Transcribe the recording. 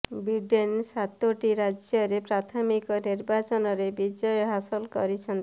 Biden ସାତୋଟି ରାଜ୍ୟରେ ପ୍ରାଥମିକ ନିର୍ବାଚନରେ ବିଜୟ ହାସଲ କରିଛନ୍ତି